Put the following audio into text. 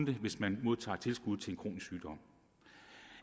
det hvis man modtager tilskud til en kronisk sygdom